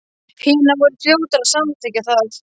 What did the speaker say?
Hinar voru fljótar að samþykkja það.